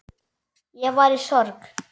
Ég var í sorg.